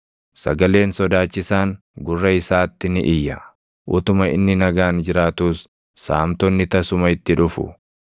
Sagaleen sodaachisaan gurra isaatti ni iyya; utuma inni nagaan jiraatuus saamtonni tasuma itti dhufu.